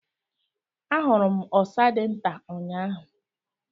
I saw a very small squirrel yesterday.